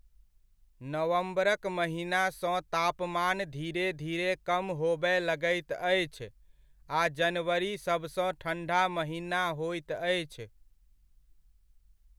नवम्बरक महिना सँ तापमान धीरे धीरे कम होबय लगैत अछि आ जनवरी सबसँ ठण्ढा महिना होइत अछि।